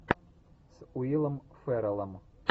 с уиллом ферреллом